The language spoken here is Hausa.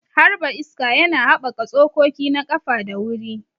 Harba iska yana haɓaka tsokoki na ƙafa da wuri.